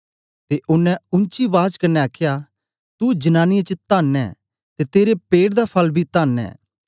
ते ओनें ऊंची बाज कन्ने आखया तू जनांनीयें च धन्न ऐं ते तेरे पेट दा फल बी धन्न ऐ